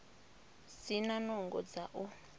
si na nungo dza u